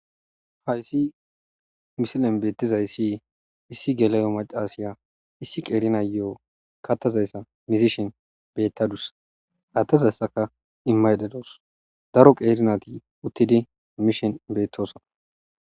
Haysi misilen betizaysi issi gela'o macashiya issi qeri nayo katadaysa muzishin betadus adezayska imayda dawus daro qeri nayti uttidi mishe betosona